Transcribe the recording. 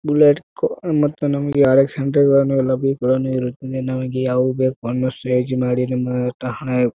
Bullet ಕೋ ಮತ್ತೆ ನಮಗೆ ಆರ್.ಎಕ್ಸ್. ಅಂತ ಎಲ್ಲಾನು ಬೈಕ್ ಗಳುನ್ನು ಇರುತ್ತವೆ. ನಮಗೆ ಯಾವು ಬೇಕು ಬಣ್ಣ ಮಾಡಿ ನಮ್ಮ ಠಹಣೆ--